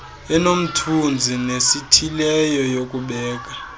enomthunzi nesithileyo yokubeka